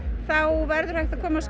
þá verður hægt að komast